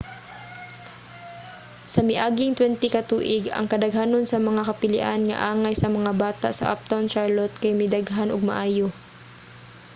sa miaging 20 ka tuig ang kadaghanon sa mga kapilian nga angay sa mga bata sa uptown charlotte kay midaghan og maayo